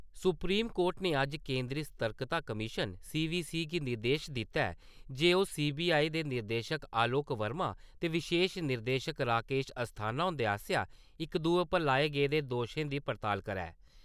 Supreme court ने अज्ज केंद्री स्तर्कता कमीश्न सी.वी.सी. गी निर्देश दित्ता ऐ जे ओ सी.बी.आई. दे निदेशक आलोक वर्मा ते विशेश निदेशक राकेश अस्थाना हुंदे आस्सेआ इक-दुए पर लाए गेदे दोशें दी पड़ताल करै।